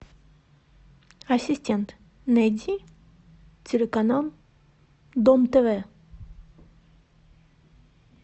ассистент найди телеканал дом тв